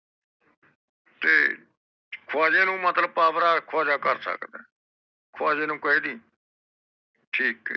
ਤੇ ਖਵਾਜੇ ਨੂੰ ਮਤਲਕਬ ਪਾਵਰ ਏ ਖਵਾਜਾ ਕਰ ਸਕਦਾ ਏ ਖਵਾਜੇ ਨੂੰ ਕਹਿਦੀ ਠੀਕ ਹੈ